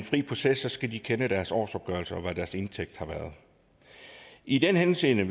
fri proces skal de kende deres årsopgørelse og vide hvad deres indtægt har været i den henseende